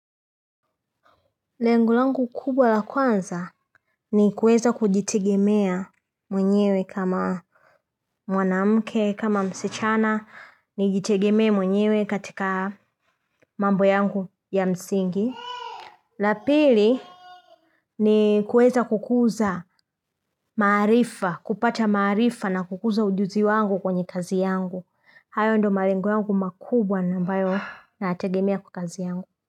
Lengo langu kubwa la kwanza ni kuweza kujitegemea mwenyewe kama mwanamke kama msichana nijitegemee mwenyewe katika mambo yangu ya msingi la pili ni kuweza kukuza maarifa kupata maarifa na kukuza ujuzi wangu kwenye kazi yangu hayo ndio malengo yangu makubwa na ambayo nayategemea kwa kazi yangu.